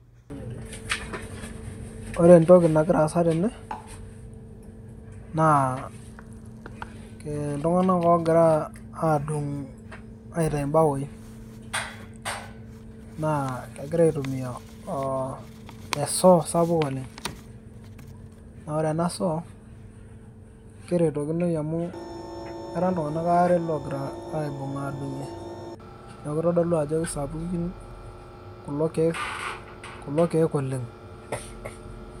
ore entoki nagira asa tene naa iltung'anak ogira adung' aitau ibawoi naa kegira aitumia esoo sapuk oleng' naa ore ena soo naa kerotokinoi amu era iltung'anak are oogira aibung' adung'ie, kitodolu ajo kisapuki kulo keek oleng'.